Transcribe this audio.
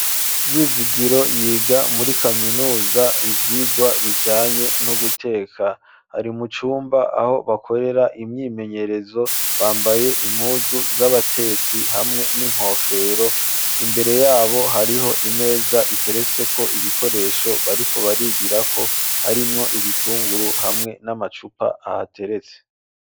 Vyizigiro yiga muri kaminuza ibyigwa bijanye no guteka hari mucumba aho bakorera imyimenyerezo bambaye impuzu z'abatetsi hamwe n'inkofero imbere yabo hariho imeza iteretse ko ibikoresho bariko barigira ko harimwo ibitunguru hamwe n'amacupa ahateretse.